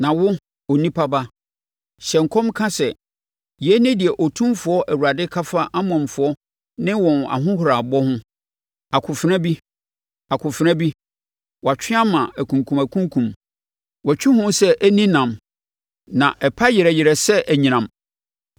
“Na wo, onipa ba, hyɛ nkɔm ka sɛ, ‘Yei ne deɛ Otumfoɔ Awurade ka fa Amonfoɔ ne wɔn ahohorabɔ ho: “ ‘Akofena bi, akofena bi, wɔatwe ama akunkumakunkum, wɔatwi ho sɛ ɛnni nam na ɛpa yerɛ yerɛ sɛ anyinam!